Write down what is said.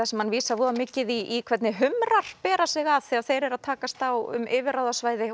sem hann vísar voða mikið í hvernig bera sig að þegar þeir eru að takast á um yfirráðasvæði